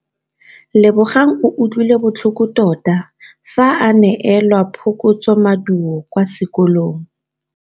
Lebogang o utlwile botlhoko tota fa a neelwa phokotsômaduô kwa sekolong.